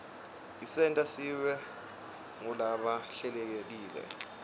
isenta sibe ngulaba hlelekile